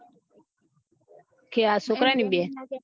કે આ છોકરાં ની બેન